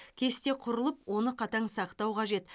кесте құрылып оны қатаң сақтау қажет